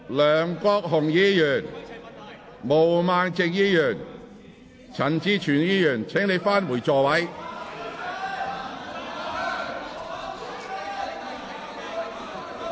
梁國雄議員、毛孟靜議員、陳志全議員，請返回座位。